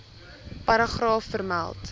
paragraaf vermeld